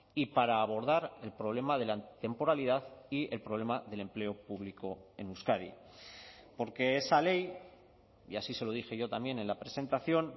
y para abordar el problema de la temporalidad y el problema del empleo público en euskadi porque esa ley y así se lo dije yo también en la presentación